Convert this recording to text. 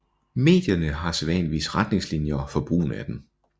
Medierne har sædvanligvis retningslinjer for brugen af dem